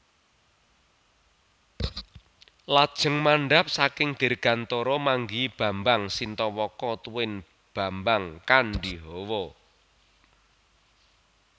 Lajeng mandhap saking dirgantara manggihi Bambang Sintawaka tuwin Bambang Kandhihawa